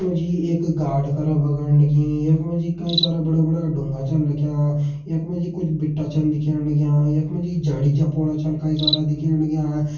यख मा जी एक गाड़ करा भगण लगीं यख मा जी कई सारा बड़ा बड़ा ड़ूंगा छन रख्यां यख मा जी कुछ बिटा छन दिखेण लग्यां यख मा जी कुछ झाड़ी-झपोड़ा छन कई सारा दिखेण लग्यां।